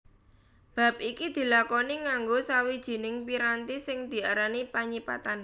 Bab iki dilakoni nganggo sawijining piranti sing diarani panyipatan